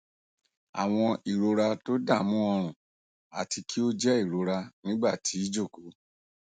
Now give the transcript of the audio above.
awọn irora todamu orun ati ki o jẹ irora nigba ti ijoko